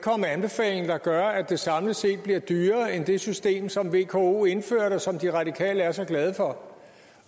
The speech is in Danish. med anbefalinger der gør at det samlet set bliver dyrere end det system som vko indførte og som de radikale er så glade for